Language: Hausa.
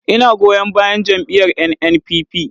Ina goyon bayan jam’iyyar NNPP.